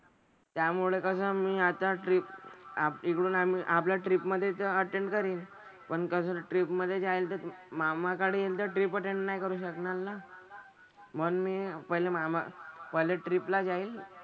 त्यामुळे कसं मी आता ट्रिपआप इकडून आम्ही आपल्या ट्रिपमधेच अटेंडकरीन. पण कसं ट्रिपमधे जाईल तर मामाकडे यांचं ट्रिप अटेंड नाही करू शकणार ना. म्हणून मी पहिलं मामा पहिले ट्रिपला जाईल,